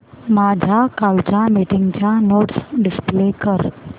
माझ्या कालच्या मीटिंगच्या नोट्स डिस्प्ले कर